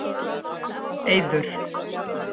Eiður